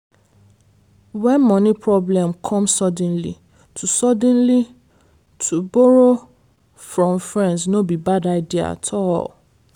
when money problem come suddenly to suddenly to borrow from friends no be bad idea at all.